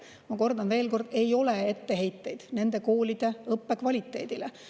Ma kordan: ei ole etteheiteid nende koolide õppe kvaliteedile.